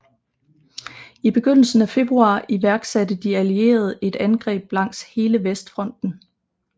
I begyndelsen af februar iværksatte de allierede et angreb langs hele Vestfronten